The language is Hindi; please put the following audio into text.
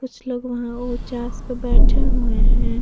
कुछ लोग वहाँ उचास पे बेठे हुए हैं।